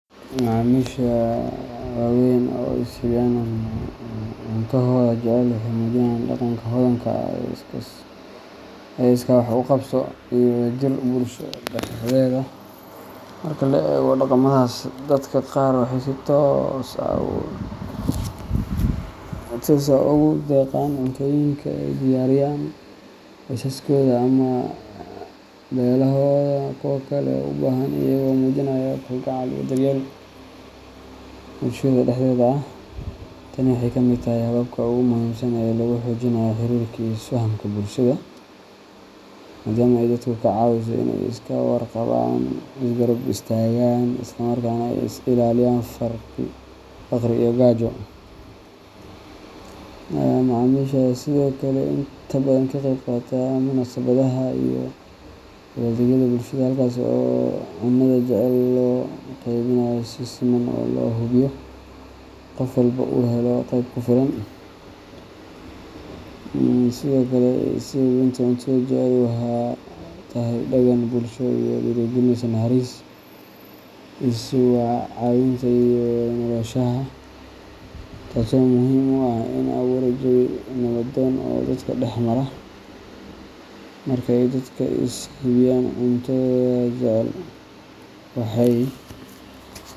Macamisha waaweyn ee is hibiyaan cuntohooda jecel waxay muujinayaan dhaqanka hodanka ah ee iskaa wax u qabso iyo wadajirka bulshada dhexdeeda. Marka la eego dhaqamadaas, dadka qaar waxay si toos ah ugu deeqaan cuntooyinka ay diyaariyaan qoysaskooda ama beelahooda kuwa kale ee u baahan, iyagoo muujinaya kalgacal iyo daryeel bulshada dhexdeeda ah. Tani waxay ka mid tahay hababka ugu muhiimsan ee lagu xoojinayo xiriirka iyo isfahamka bulshada, maadaama ay dadka ka caawiso in ay iska warqabaan, is garab istaagaan, isla markaana ay iska ilaaliyaan faqri iyo gaajo. Macamisha ayaa sidoo kale inta badan ka qeyb qaata munaasabadaha iyo dabaaldegyada bulshada, halkaas oo cuntada jecel loo qeybinayo si siman oo loo hubiyo in qof walba uu helo qayb ku filan. Sidoo kale, is hibinta cuntohooda jecel waxay tahay dhaqan bulsho oo dhiirrigeliya naxariis, is caawinta, iyo wada noolaanshaha, taasoo muhiim u ah in la abuuro jawi nabdoon oo dadka dhex mara. Marka ay dadka is hibiyaan cuntohooda jecel, waxay.